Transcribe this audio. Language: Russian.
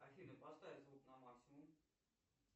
афина поставь звук на максимум